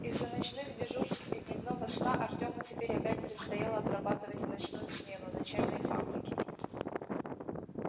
из-за ночных дежурств и дневного сна артёму теперь опять предстояло отрабатывать в ночную смену на чайной фабрике